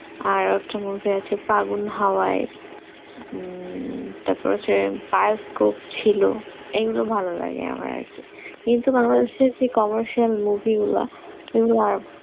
আর একটা movie আছে ফাগুন হয়ে হম তারপর হচ্ছে তার hope এই গুলো ভালো লাগে আমার আরকি কিন্তু বাংলাদেশ এর যে commercial-movie গুলা ছিল